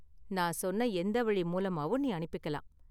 நான் சொன்ன எந்த வழி மூலமாவும் நீ அனுப்பிக்கலாம்.